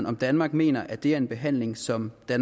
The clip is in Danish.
om danmark mener at det er en behandling som